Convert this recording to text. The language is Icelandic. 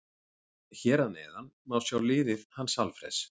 Hér að neðan má sjá liðið hans Alfreðs.